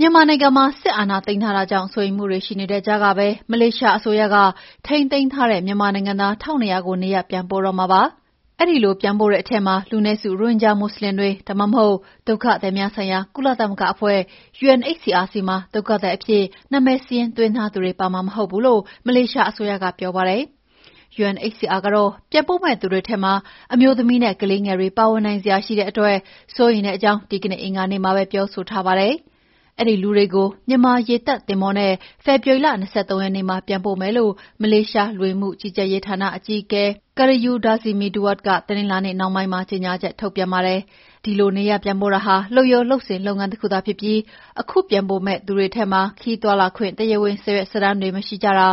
မြန်မာနိုင်ငံမှာ စစ်အာဏာသိမ်းထားတာကြောင့် စိုးရိမ်မှုတွေ ရှိနေတဲ့ကြားကပဲ မလေးရှားအစိုးရက ထိန်းသိမ်းထားတဲ့ မြန်မာနိုင်ငံသား ၁,၂၀၀ ကို နေရပ်ပြန်ပို့တော့မှာ ဖြစ်ပါတယ်။ အဲဒီလိုပြန်ပို့တဲ့အထဲမှာ လူနည်းစု ရိုဟင်ဂျာမွတ်ဆလင်တွေ ဒါမှမဟုတ် ဒုက္ခသည်များဆိုင်ရာကုလသမဂ္ဂအဖွဲ့ UNHCR ဆီမှာ ဒုက္ခသည်အဖြစ် နာမည်စာရင်းသွင်းထားသူတွေ ပါမှာ မဟုတ်ဘူးလို့ မလေးရှားအစိုးရကပြောပါတယ်။ UNHCR ကတော့ ပြန်ပို့မယ့်သူတွေထဲမှာ အမျိုးသမီးနဲ့ ကလေးငယ်တွေ ပါဝင်နိုင်စရာရှိတဲ့အတွက် စိုးရိမ်ကြောင်း ဒီကနေ့ အင်္ဂါနေ့မှာပဲ ပြောဆိုထားပါတယ်။ အဲဒီလူတွေကို မြန်မာရေတပ်သင်္ဘောနဲ့ ဖေဖော်ဝါရီလ ၂၃ ရက်နေ့မှာ ပြန်ပို့မယ်လို့ မလေးရှား လူဝင်မှုကြီးကြပ်ရေးဌာနအကြီးအကဲ Khairul Dzaimee Duad က တနင်္လာနေ့နှောင်းပိုင်းမှာ ကြေငြာချက်ထုတ်ပြန်ပါတယ်။ ဒီလိုနေရပ်ပြန်ပို့တာဟာ လုပ်ရိုးလုပ်စဉ်လုပ်ငန်း တခုသာဖြစ်ပြီး ခုပြန်ပို့မယ့် လူတွေထဲမှာ ခရီးသွားလာခွင့် တရားဝင်စာရွက်စာတမ်းတွေ မရှိတာ၊